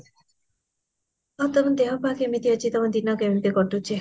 ଆଉ ତମ ଦେହପା କେମିତି ଅଛି ତମ ଦିନ କେମିତି କାଟୁଚି